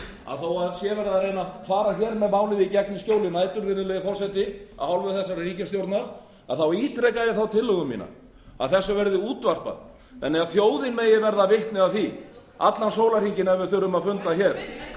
að þó verið sé að reyna að fara með málið í gegn í skjóli nætur virðulegi forseti af hálfu þessarar ríkisstjórnar þá ítreka ég þá tillögu mína að þess verði útvarpað þannig að fjórir megi verða vitni að því allan sólarhringinn ef við þurfum að funda hér